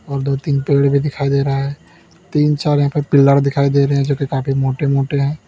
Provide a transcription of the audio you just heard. और दो तीन पेड़ भी दिखाई दे रहा है तीन चार यहां पे पिलर दिखाई दे रहे है जोकि काफी मोटे मोटे है।